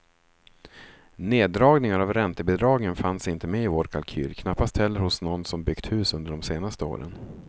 Neddragningar av räntebidragen fanns inte med i vår kalkyl, knappast heller hos någon som byggt hus under den senaste åren.